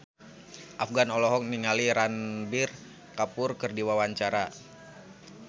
Afgan olohok ningali Ranbir Kapoor keur diwawancara